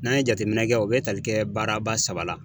N'an ye jateminɛ kɛ , o be tali kɛ baara ba saba la.